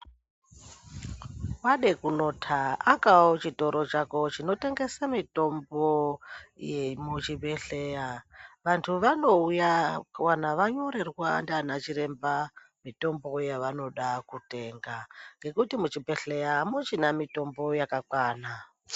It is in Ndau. Wade kunota akao chitoro chako chinotengesa mitombo yemuchibhedhleya vanthu vanouya kana vanyorerwa ndiana chiremba mitombo yavanoda kutenga ngekuti muchibhedhleya amuchina mitombo yakakwana.